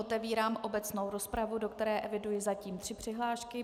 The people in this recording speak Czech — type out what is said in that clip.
Otevírám obecnou rozpravu, do které eviduji zatím tři přihlášky.